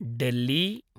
Delhi